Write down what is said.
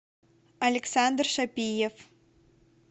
александр шапиев